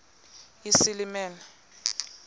isilimela